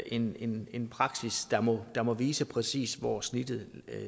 en en praksis der må der må vise præcis hvor snittet